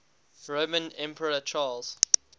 roman emperor charles